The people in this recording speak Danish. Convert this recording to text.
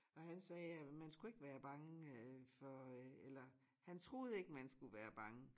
Og han sagde øh man skulle ikke være bange øh for øh eller han troede ikke man skulle være bange